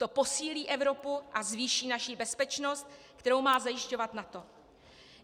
To posílí Evropu a zvýší naši bezpečnost, kterou má zajišťovat NATO.